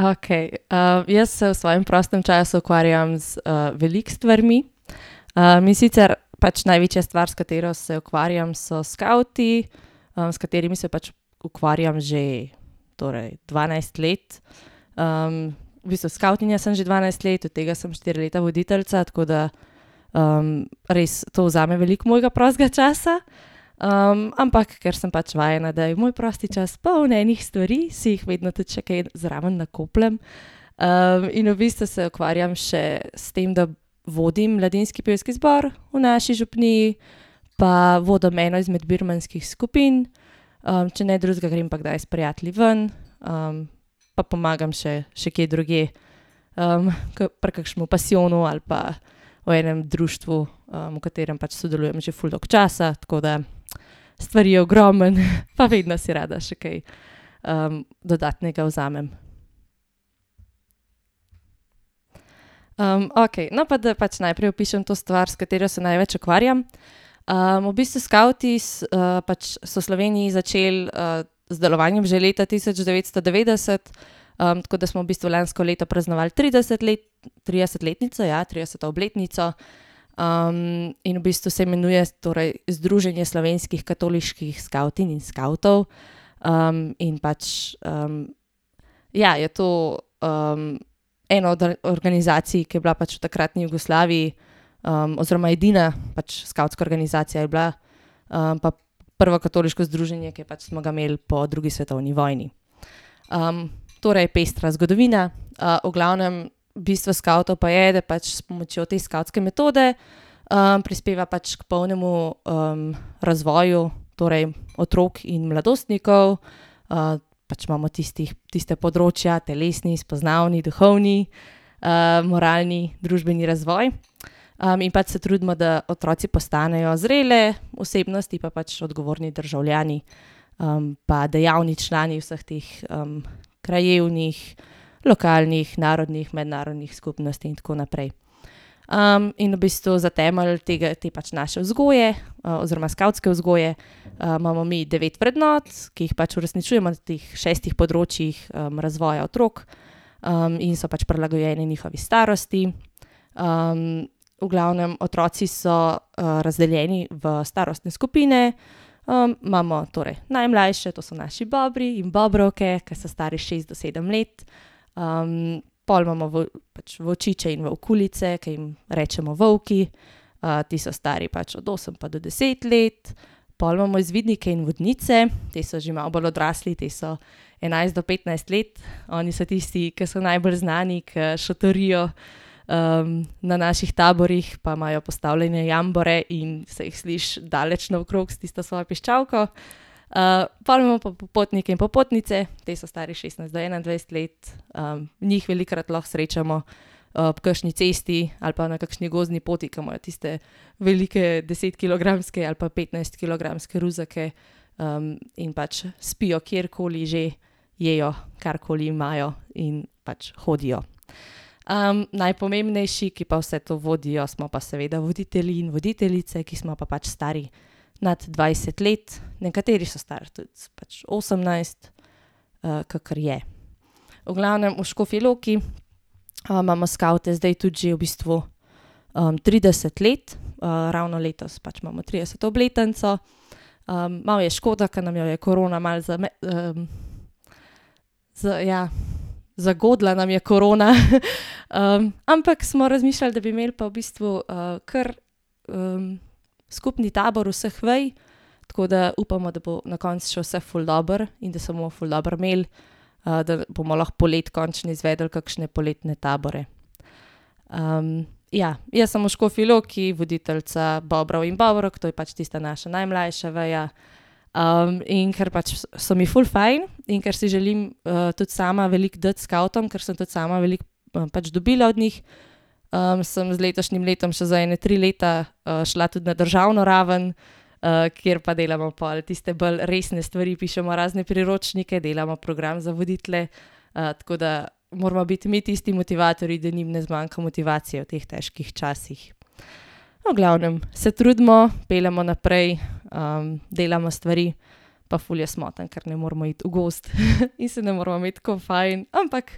Okej, jaz se v svojem prostem času ukvarjam z, veliko stvarmi. mi sicer pač največja stvar, s katero se ukvarjam, so skavti, s katerimi se pač ukvarjam že, torej dvanajst let. v bistvu skavtinja sem že dvanajst let, od tega sem štiri leta voditeljica, tako da, res to vzame veliko mojega prostega časa. ampak ker sem pač vajena, da je moj prosti čas poln enih stvari, si jih vedno tudi še kaj zraven nakopljem. in v bistvu se ukvarjam še s tem, da vodim mladinski pevski zbor v naši župniji pa vodim eno izmed birmanskih skupin, če ne drugega, grem pa kdaj s prijatelji ven, pa pomagam še, še kje drugje. ko pri kakšnem pasijonu ali pa v enem društvu, v katerem pač sodelujem že ful dolgo časa, tako da stvari je ogromno, pa vedno si rada še kaj, dodatnega vzamem. okej, no, pa da pač najprej opišem to stvar, s katero se največ ukvarjam. v bistvu skavti se, pač so v Sloveniji začeli, z delovanjem že leta tisoč devetsto devetdeset, tako da smo v bistvu lansko leto praznovali trideset let, tridesetletnico, ja, trideseto obletnico. in v bistvu se imenuje torej Združenje slovenskih katoliških skavtinj in skavtov. in pač, ja, je to, eno od organizacij, ki je bila v takratni Jugoslaviji, oziroma edina pač skavtska organizacija je bila. pa prvo katoliško združenje, ki je pač smo ga imeli po drugi svetovni vojni. torej pestra zgodovina. v glavnem bistvo skavtov pa je, da pač s pomočjo te skavtske metode, prispeva pač k polnemu, razvoju, torej otrok in mladostnikov. pač imamo tistih, tista področja, telesni, spoznavni, duhovni, moralni, družbeni razvoj. in pač se trudimo, da otroci postanejo zrele osebnosti pa pač odgovorni državljani. pa dejavni člani vseh teh, krajevnih, lokalnih, narodnih, mednarodnih skupnosti in tako naprej. in v bistvu za temelj tega, potem pač naše vzgoje, oziroma skavtske vzgoje, imamo mi devet vrednot, ki jih pač uresničujemo teh šestih področjih, razvoja, otrok, in so pač prilagojeni njihovi starosti. v glavnem otroci so, razdeljeni v starostne skupine. imamo torej najmlajše, to so naši bobri in bobrovke, ki so stari šest do sedem let. pol imamo pač volčiče in volkuljice, ke jim rečemo volki. ti so stari pač od osem pa do deset let. Pol imamo izvidnike in vodnice, te so že malo bolj odrasli, ti so enajst do petnajst let, oni so tisti, ke so najbolj znani, ke šotorijo. na naših taborih pa imajo postavljene jambore in se jih sliši daleč naokrog s tisto svojo piščalko. pol imamo pa popotnike in popotnice, ti so stari od šestnajst do enaindvajset let. njih velikokrat lahko srečamo, ob kakšni cesti ali pa na kakšni gozdni poti, ke imajo tiste velike desetkilogramske ali pa petnajstkilogramske ruzake, in pač spijo kjerkoli že, jejo, karkoli imajo, in pač hodijo. najpomembnejši, ki pa vse to vodijo, smo pa seveda voditelji in voditeljice, ki smo pa pač stari nad dvajset let. Nekateri so stari tudi pač osemnajst, kakor je. V glavnem, v Škofji Loki, imamo skavte zdaj tudi že v bistvu, trideset let. ravno letos pač imamo trideseto obletnico. malo je škoda, ke nam jo je korona malo ja. Zagodla nam je korona , ampak smo razmišljali, da bi imeli pa v bistvu, ker, skupni tabor vseh vej, tako da upamo, da bo na koncu šlo vse ful dobro in da se bomo ful dobro imeli. da bomo lahko poleti končno izvedli kakšne poletne tabore. ja, jaz sem v Škofji Loki voditeljica bobrov in bobrovk, to je pač tista naša najmlajša veja. in ker pač so mi ful fajn in ker si želim, tudi sama veliko dati skavtom, ker sem tudi sama veliko, pač dobila od njih, sem z letošnjim letom še za ene tri leta, šla tudi na državno raven, kjer pa delamo pol tiste bolj resne stvari. Pišemo razne priročnike, delamo program za voditelje, tako da moramo biti mi tisti motivatorji, da njim ne zmanjka motivacije v teh težkih časih. No, v glavnem, se trudimo. Peljemo naprej, delamo stvari pa ful je smotano, ker ne moremo iti v gozd in se ne moramo imeti tako fajn, ampak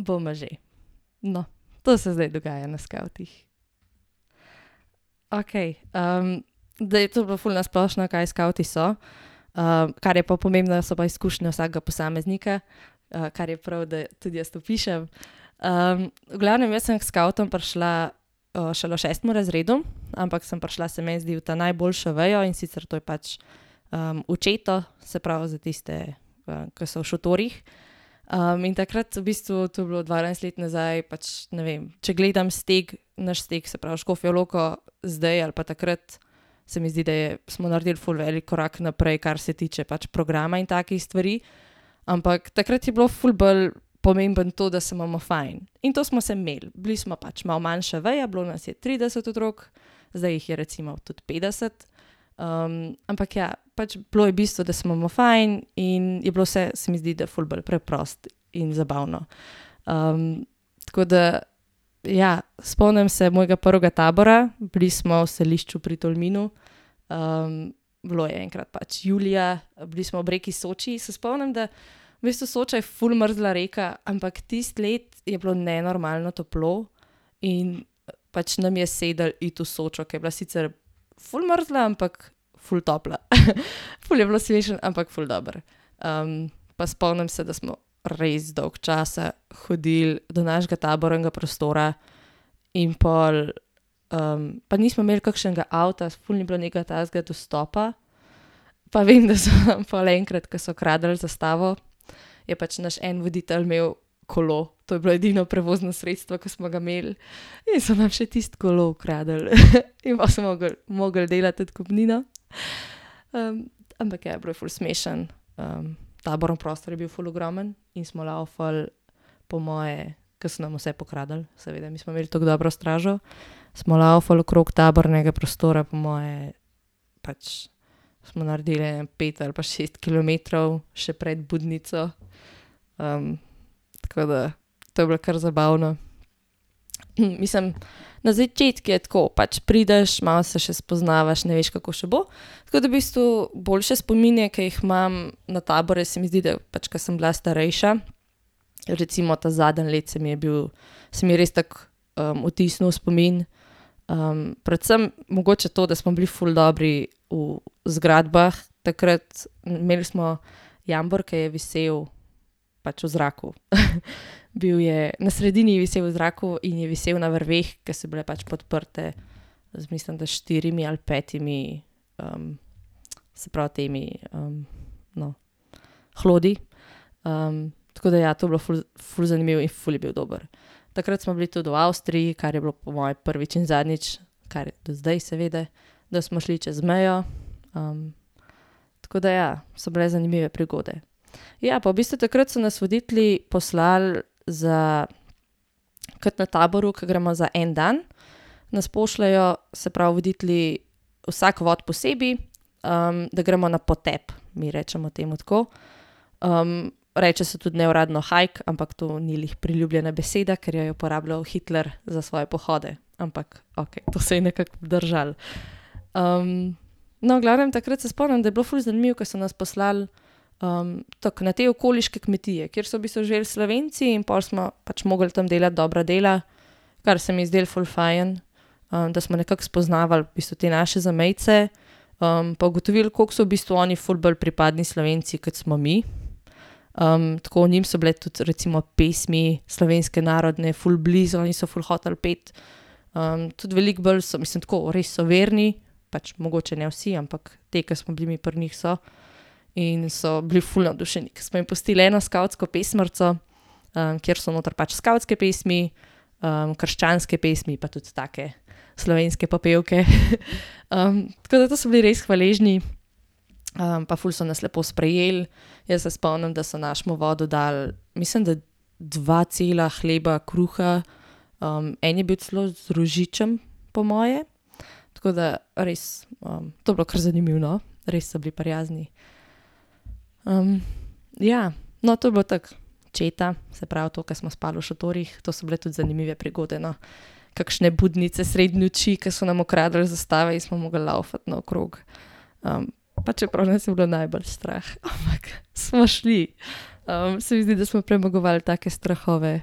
bomo že, no, to se zdaj dogaja na skavtih. Okej, je to bilo ful na splošno, kaj skavti so. kar je pa pomembno, so pa izkušnje vsakega posameznika, kar je prav, da tudi jaz opišem. v glavnem jaz sem k skavtom prišla, šele v šestem razredu, ampak sem prišla, se meni zdi, v ta najboljšo vejo, in sicer to je pač, v četo, se pravi za tiste, ke so v šotorih. in takrat v bistvu, to je bilo dvanajst let nazaj, pač ne vem, če gledam steg, naš steg, se pravi Škofjo Loko, zdaj ali pa takrat, se mi zdi, da je, smo naredili ful velik korak naprej, kar se tiče pač programa in takih stvari. Ampak takrat je bilo ful bolj pomembno to, da se imamo fajn. In to smo se imeli, bili smo pač malo manjša veja. Bilo nas je trideset otrok, zdaj jih je recimo tudi petdeset, ampak ja, pač bilo je bistvo, da se imamo fajn, in je bilo vse, se mi zdi, da ful bolj preprosto in zabavno. tako da ja, spomnim se mojega prvega tabora. Bili smo v Selišču pri Tolminu, bilo je enkrat pač julija. Bili smo ob reki Soči, se spomnim, da v bistvu Soča je ful mrzla rekla, ampak tisto let je bilo nenormalno toplo in pač nam je sedlo iti v Sočo, ke je bila sicer ful mrzla, ampak ful topla , ful je bilo smešno, ampak ful dobro. pa spomnim se, da smo res dolgo časa hodili do našega tabornega prostora in pol, pa nismo imeli kakšnega avta, ful ni bilo nekaj takega dostopa. Pa vem, da so pol enkrat, ke so kradli zastavo, je pač naš en voditelj imel kolo, to je bilo edino prevozno sredstvo, ki smo ga imeli. In so nam še tisti kolo ukradli in pol smo mogli, mogli delati odkupnino, ampak ja, bilo je ful smešno, taborni prostor je bil ful ogromen in smo lavfali po moje, ke so nam vse pokradli, seveda mi smo imeli toliko dobro stražo. Smo lavfali okrog tabornega prostora, po moje pač smo naredili ene pet ali pa šest kilometrov še pred budnico. tako da, to je bilo kar zabavno, mislim, na začetku je tako, pač prideš malo, se še spoznavaš, ne veš, kako še bo, tako da v bistvu boljše spomine, ke jih imam na tabore, se mi zdi, da pač, ke sem bila starejša, recimo ta zadnje leto, saj mi je bil, se mi je res tako, vtisnil v spomin, predvsem mogoče to, da smo bili ful dobri v zgradbah takrat, imeli smo jambor, ke je visel pač v zraku . Bil je na sredini, je visel v zraku in je visel na vrveh, ke so bile pač podprte, jaz mislim, da s štirimi ali petimi, se pravi temi, no, hlodi. tako da ja, to je bilo ful zanimivo in ful je bil dobro. Takrat smo bili tudi v Avstriji, kar je bilo po moje prvič in zadnjič, kar do zdaj seveda, da smo šli čez mejo, tako da ja, so bile zanimive prigode. Ja, pa v bistvu takrat so nas voditelji poslali za, kot na taboru, ke gremo za en dan, nas pošljejo, se pravi voditelji, vsak vod posebej, da gremo na potep, mi rečemo temu tako. reče se tudi neuradno hike, ampak to ni glih priljubljena beseda, ker jo je uporabljal Hitler za svoje pohode, ampak okej, to se je nekako obdržalo. no, v glavnem takrat se spomnim, da bilo ful zanimivo, ko so nas poslali, tako na te okoliške kmetije, kjer so v bistvu živeli Slovenci in pol smo pač mogli tam delati dobra dela, kar se mi je zdelo ful fajn, da smo nekako spoznavali v bistvu te naše zamejce, pa ugotovili, kako so v bistvu oni ful bolj pripadni Slovenci, kot smo mi. tako njim so bile tudi recimo pesmi slovenske narodne ful blizu in so ful hoteli peti. tudi veliko bolj so, mislim, tako, res so verni, pač mogoče ne vsi, ampak potem, ke smo bili mi pri njih, so. In so bili ful navdušeni, ke smo jim pustili eno skavtsko pesmarico, kjer so noter pač skavtske pesmi, krščanske pesmi pa tudi take slovenske popevke, tako da to so bili res hvaležni. pa ful so nas lepo sprejeli. Jaz se spomnim, da so našemu vodu dali mislim, da dva cela hleba kruha. en je bil celo z rožičem po moje, tako da res, to je bilo kar zanimivo, no. Res so bili prijazni. ja, no, to je bilo tako četa, se pravi to, ke smo spali v šotorih, to so bile tudi zanimive prigode, no. Kakšne budnice sredi noči, ke so nam ukradli zastave in smo mogli lavfati naokrog, pa čeprav nas je bilo najbolj strah, ampak smo šli. se mi zdi, da smo premagovali take strahove.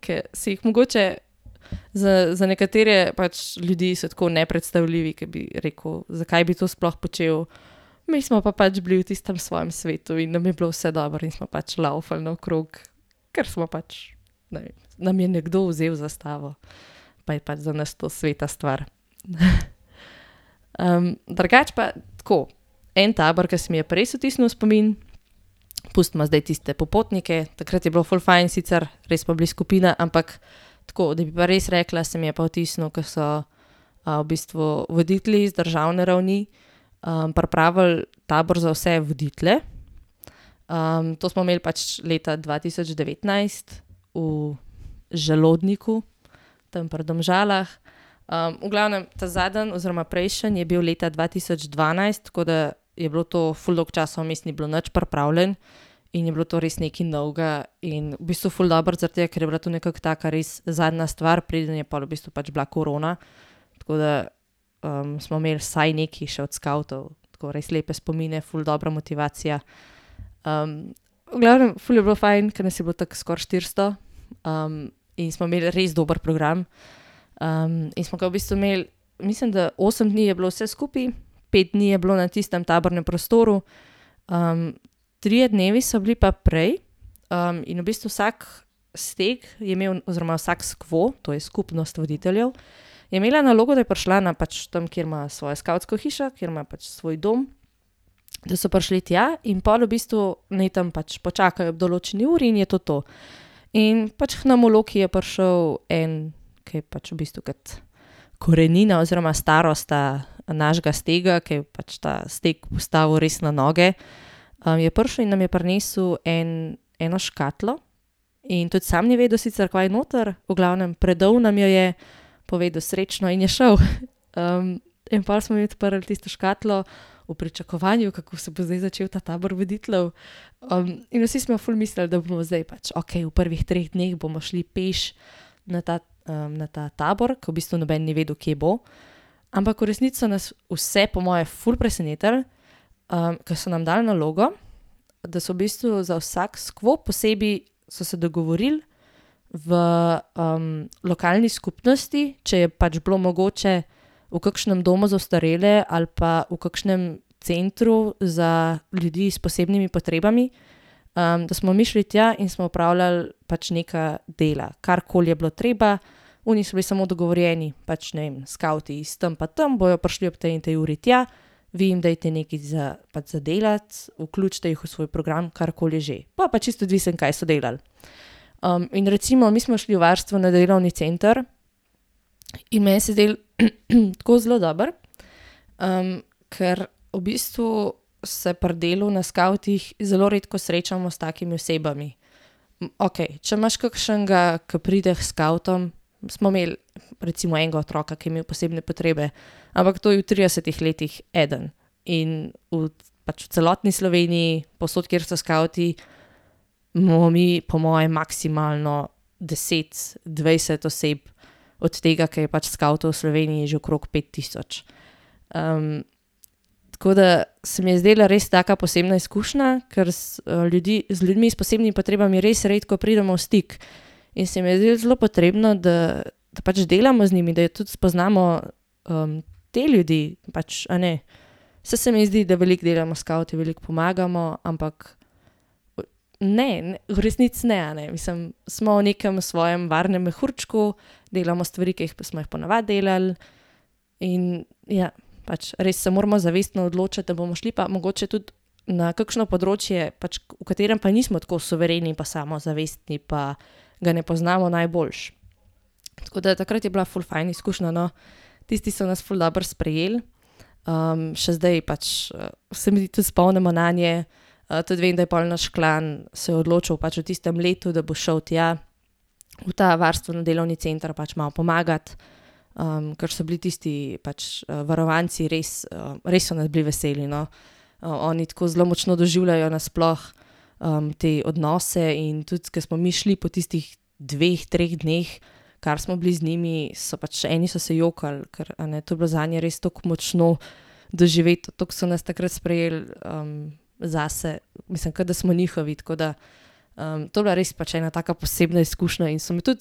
ke se jih mogoče za, za nekatere pač ljudi so tako nepredstavljivi, ke bi rekel: "Zakaj bi to sploh počel?" Mi smo pa pač bili v tistem svojem svetu in nam je bilo vse dobro in smo pač lavfali naokrog. Ker smo pač nam je nekdo vzel zastavo. Pa je pač za nas to sveta stvar. drugače pa tako, en tabor, ke se mi je pa res vtisnil v spomin, pustimo zdaj tiste popotnike. Takrat je bilo ful fajn, sicer res smo bili skupina, ampak tako, da bi pa res rekla, se mi je pa vtisnilo, ki so, v bistvu voditelji z državne ravni, pripravili tabor za vse voditelje. to smo imeli pač leta dva tisoč devetnajst v Želodniku. Tam pri Domžalah. v glavnem ta zadnji oziroma prejšnji je bil leta dva tisoč dvanajst, tako da je bilo to, ful časa vmes ni bilo nič pripravljeno in je bilo to res nekaj novega in v bistvu ful dobro zaradi tega, ker je bilo to nekako taka res zadnja stvar, preden je pol v bistvu pač bila korona, tako da, smo imeli vsaj nekaj še od skavtov, tako res lepe spomine, ful dobra motivacija. v glavnem ful je bilo fajn, ker nas je bilo toliko skoraj štiristo, in smo imeli res dober program, in smo ga v bistvu imeli, mislim, da osem dni je bilo vse skupaj, pet dni je bilo na tistem tabornem prostoru, trije dnevi so bili pa prej, in v bistvu vsak steg je imel oziroma vsak skvo, to je skupnost voditeljev, je imela nalogo, da ja prišla na pač tam, kjer imajo svojo skavtsko hišo, kjer imajo pač svoj dom, da so prišli tja, in pol v bistvu naj tam pač počakajo ob določeni uri in je to to. In pač k nam v Loki je prišel en, ke je pač v bistvu kot korenina oziroma starosta našega stega, ker je ta steg postavil res na noge, je prišel in nam je prinesel en, eno škatlo in tudi samo ni vedel sicer, kaj je noter. V glavnem predal nam jo je, povedal srečno in je šel, In pol smo mi odprli tisto škatlo v pričakovanju, kako se bo zdaj začel ta tabor voditeljev, in vsi smo ful mislili, da bomo zdaj pač okej v prvih treh dneh bomo šli peš na ta, na ta tabor, ke v bistvu noben ni vedel, kje bo, ampak v resnici so nas vse po moje ful presenetili, ke so nam dali nalogo, da se v bistvu za vsak skvo posebej so se dogovorili v, lokalni skupnosti, če je pač bilo mogoče, v kakšnem domu za ostarele ali pa v kakšnem centru za ljudi s posebnimi potrebami, da smo mi šli tja in smo opravljali pač neka dela, karkoli je bilo treba, oni so bili samo dogovorjeni pač ne vem, skavti iz tam pa tam bojo prišli ob tej pa tej uri tja, vi jim dajte nekaj za, pač za delati. Vključite jih v svoj program, karkoli že. Pol pa čisto odvisno, kaj so delali. in recimo mi smo šli v varstvo na delovni center in meni se je zdelo tako zelo dobro, ker v bistvu se pri delu na skavtih zelo redko srečamo s takimi osebami. okej, če imaš kakšnega, ke pride k skavtom, smo imeli recimo enega otroka, ke je imel posebne potrebe, ampak to je v tridesetih letih eden in v pač v celotni Sloveniji, povsod, kjer so skavti, imamo mi po moje maksimalno deset, dvajset oseb, od tega, ke je pač skavtov v Sloveniji že okrog pet tisoč. tako da se mi je zdela res taka posebna izkušnja, kar ljudi, z ljudmi s posebnimi potrebami res redko pridemo v stik in se mi je zdelo zelo potrebno, da pač delamo z njimi, da tudi spoznamo, te ljudi, pač a ne. Saj se mi zdi, da veliko delamo s skavti, veliko pomagamo, ampak ne, v resnici ne, a ne. Mislim, smo v nekem svojem varnem mehurčku, delamo stvari, ke jih, smo jih po navadi delali in ja. Pač res se moramo zavestno odločati, da bomo šli pa mogoče pa tudi na kakšno področje pač, v katerem pa nismo tako suvereni pa samozavestni pa ga ne poznamo najboljše. Tako da takrat je bila ful fajn izkušnja, no, tisti so nas ful dobro sprejeli, še zdaj pač, se mi tudi spomnimo nanje, tudi vem, da je pol naš klan se odločil pač v tistem letu, da bo šel tja, v ta varstveni delovni center pač malo pomagat, ker so bili tisti pač, varovanci res, res so nas bili veseli, no. oni tako zelo močno doživljajo na sploh, te odnose in tudi, ke smo mi šli po tistih dveh, treh dneh, kar smo bili z njimi, so pač eni so se jokali, ker, a ne, to je bilo zanje res toliko močno doživeto, tako so nas takrat sprejeli, zase mislim, ke da smo njihovi, tako da, to je bila res pač ena taka posebna izkušnja in so mi tudi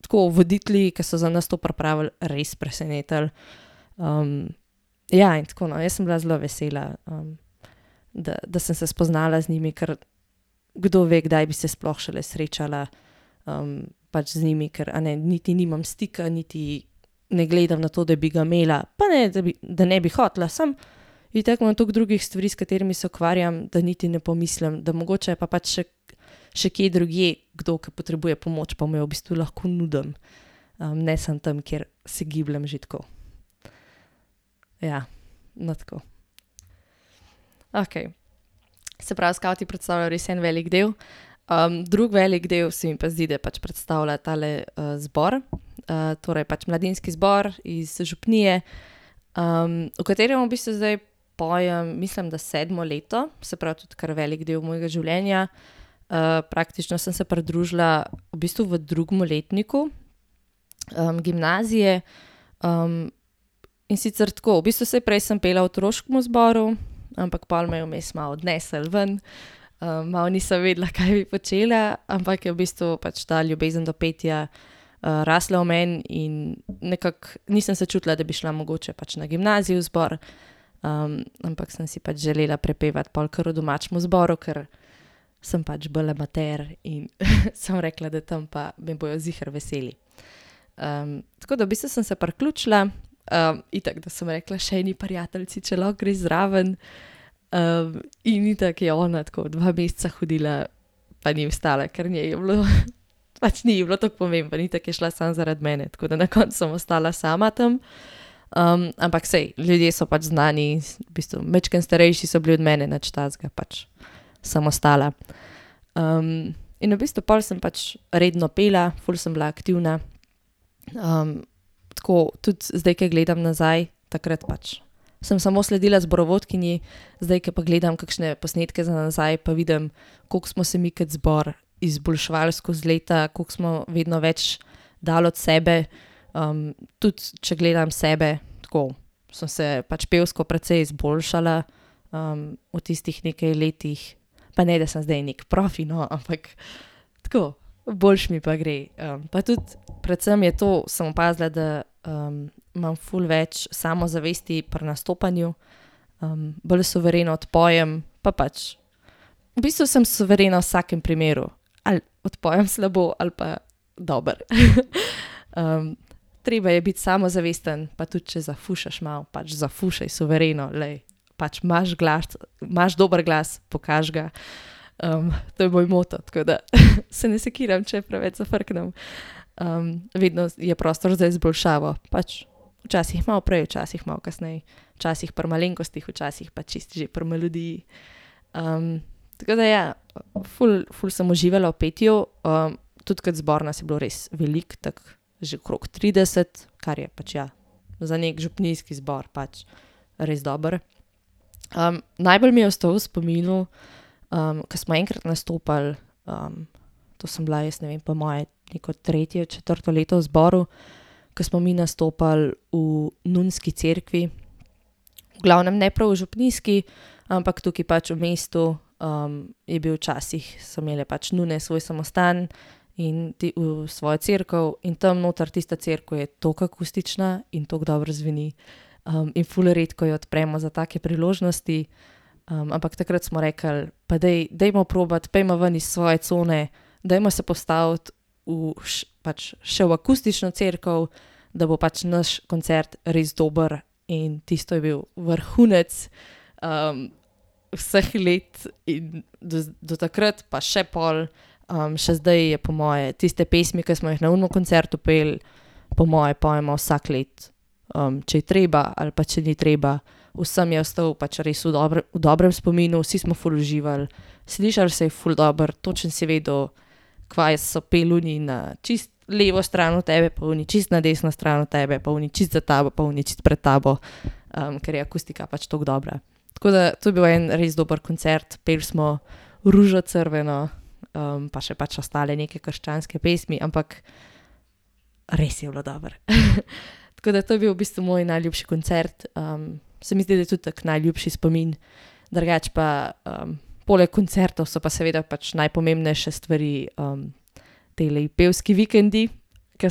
tako voditelji, ke so na nas to pripravili, res presenetili. ja, in tako, no, jaz sem bila zelo vesela, da, da sem se spoznala z njimi, ker kdove, kdaj bi se sploh šele srečala, pač z njimi, ker, a ne, niti nimam stika, niti ne gledam na to, da bi ga imela, pa ne da bi, da ne bi hotela, samo itak imam tako drugih stvari, s katerimi se ukvarjam, da niti ne pomislim, da mogoče je pa pač še, še kje drugje kdo, ke potrebuje pomoč, pa mu jo v bistvu lahko nudim, ne samo tam, ker se gibljem že tako. Ja. No, tako. Okej. Se pravi, skavti predstavljajo res en velik del. drug velik del se mi pa zdi, da pač predstavlja tale, zbor, torej, pač mladinski zbor iz, župnije, v katerem v bistvu zdaj pojem, mislim, da sedmo leto. Se pravi, tudi kar velik del mojega življenja. praktično sem se pridružila, v bistvu v drugem letniku. gimnazije, in sicer tako, v bistvu saj prej sem pela v otroškem zboru, ampak pol me je vmes malo odneslo ven, malo nisem vedela, kaj bi počela, ampak je v bistvu pač ta ljubezen do petja, rasla v meni in nekako, nisem se čutila, da bi šla mogoče pač na gimnaziji v zbor. ampak sem si pač želela prepevati pol kar v domačemu zboru, ker sem pač bolj amater in sem rekla, da tam pa me bojo ziher veseli. tako da v bistvu sem se priključila, itak, da sem rekla še eni prijateljici, če lahko gre zraven. in itak je ona tako dva meseca hodila, pa ni ostala, ker njej je bilo, pač ni ji bilo toliko pomembno. Itak je šla samo zaradi mene, tako da na koncu sem ostala sama tam. ampak saj, ljudje so pač znani, v bistvu majčkeno starejši so bili od mene, nič takega pač. Sem ostala, in v bistvu pol sem pač redno pela, ful sem bila aktivna. tako tudi zdaj, ke gledam nazaj, takrat pač sem samo sledila zborovodkinji, zdaj ke pa gledam kakšne posnetke za nazaj, pa vidim, koliko smo se mi kot zbor izboljševali skozi leta, koliko smo vedno več dali od sebe, tudi če gledam sebe, tako sem se pač pevsko precej izboljšala. v tistih nekaj letih pa ne, da sem zdaj neki profi, no, ampak tako boljše mi pa gre, pa tudi predvsem je to, sem opazila, da, imam ful več samozavesti pri nastopanju. bolj suvereno odpojem pa pač v bistvu sem suverena v vsakem primeru, ali odpojem slabo ali pa dobro, treba je biti samozavesten pa tudi, če zafušaš malo, pač zafušej suvereno, glej. Pač imaš imaš dober glas, pokaži ga. to je moj moto, tako da se ne sekiram, če preveč zafrknem, vedno je prostor za izboljšavo, pač včasih malo prej, včasih malo kasneje. Včasih pri malenkostih včasih pa čisto že pri melodiji. tako da ja, ful, ful sem uživala v petju, tudi kot zbor nas je bilo res veliko tako že okrog trideset, kar je pač ja za neki župnijski zbor, pač res dobro. najbolj mi je ostal v spominu, ke smo enkrat nastopali, to sem bila jaz, ne vem, po moje neko tretje, četrto leto v zboru, ke smo mi nastopali v nunski cerkvi, v glavnem ne prav v župnijski, ampak tukaj pač v mestu, je bil včasih, so imele pač nune svoj samostan in ti svojo cerkev in tam noter tista cerkev je toliko akustična in toliko dobro zveni, in ful redko jo odpremo za take priložnosti, ampak takrat smo rekli, pa daj, dajmo probati, pojdimo ven iz svoje cone, dajmo se postaviti v pač še v akustično cerkev, da bo pač naš koncert res dober in tisto je bil vrhunec, vseh let in do do takrat pa še pol, še zdaj je po moje tiste pesmi, ke smo jih na onem koncertu peli, po moje pojemo vsako let. če je treba ali pa če ni treba. Vsem je ostal pač res v v dobrem spominu, vsi smo ful uživali. Slišal se je ful dobro, točno si vedel, kva je so peli oni na čisto levo stran od tebe, pa oni na čisto na desno stran od tebe, pa oni čisto za tabo, pa oni čisto pred tabo, ker je akustika pač tako dobra. Tako da to je bil en res dober koncert, peli smo Ružo crveno, pa še pač ostale neke krščanske pesmi, ampak res je bilo dobro , tako da to je bil v bistvu moj najljubši koncert, se mi zdi, da tudi tak najlepši spomin. Drugače pa, poleg koncertov so pa seveda pač najpomembnejše stvari, tile pevski vikendi, ke